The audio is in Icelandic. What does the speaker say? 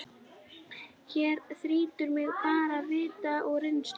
Hér þrýtur mig bara vit og reynslu.